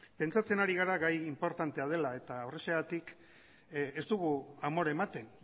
pentsatzen ari gara gai inportantea dela eta horrexegatik ez dugu amore ematen